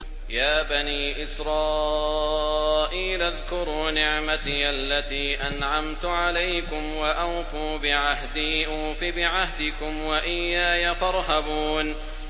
يَا بَنِي إِسْرَائِيلَ اذْكُرُوا نِعْمَتِيَ الَّتِي أَنْعَمْتُ عَلَيْكُمْ وَأَوْفُوا بِعَهْدِي أُوفِ بِعَهْدِكُمْ وَإِيَّايَ فَارْهَبُونِ